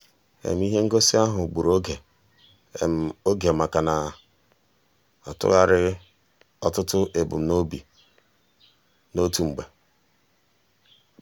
ihe ngosi ahụ gburu oge oge maka na m na-atụgharị ọtụtụ ebumnobi n'otu mgbe.